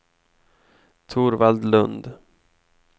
Torvald Lundh